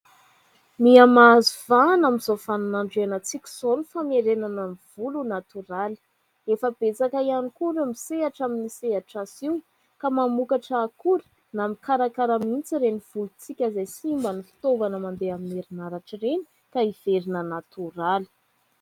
Miamahazo vahana amin'izao vanin'andro ianantsika izao ny famerenana ny volo ho "natoraly". Efa betsaka ihany koa ireo misehatra amin'ny sehatra io ka mamokatra akora na mikarakara mihitsy ireny volontsika izay simba ny fitaovana mandeha amin'ny herinaratra ireny ka hiverina "natoraly".